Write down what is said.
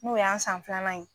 N'o y'an san filanan ye